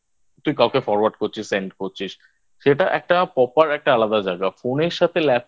তুই কাউকে forward করছিস Send করছিস সেটা একটা Proper একটা আলাদা জায়গা Phone এর সাথে